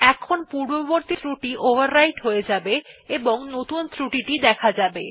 এখন পূর্ববর্তী ক্রুটি ওভাররাইট হয়ে যাবে এবং নতুন ক্রুটি দেখা যাবে